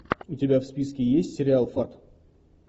у тебя в списке есть сериал фарт